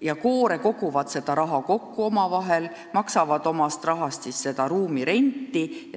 ja koore koguvad ise raha ning maksavad omast taskust ruumide renti.